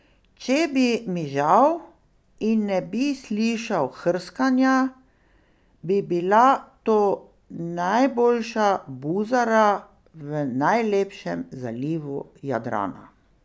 Če bi mižal in ne bi slišal hrskanja, bi bila to najboljša buzara v najlepšem zalivu Jadrana.